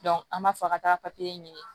an b'a fɔ ka taa papiye ɲini